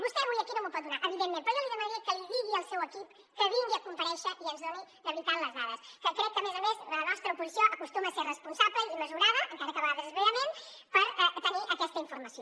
vostè avui aquí no m’ho pot donar evidentment però jo li demanaria que li digui al seu equip que vingui a comparèixer i ens doni de veritat les dades que crec que a més a més la nostra oposició acostuma a ser responsable i mesurada encara que a vegades és vehement per tenir aquesta informació